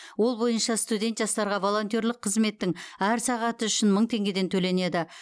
ол бойынша студент жастарға волонтерлік қызметтің әр сағаты үшін мың теңгеден төленеді